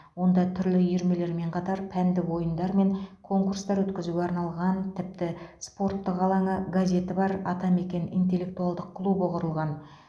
онда түрлі үйірмелермен қатар пәндік ойындар мен конкурстар өткізуге арналған тіпті спорттық алаңы газеті бар атамекен интеллектуалдық клубы құрылған